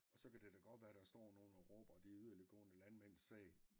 Og så kan det da godt være der står nogle og råber de yderligtgående landmænds sag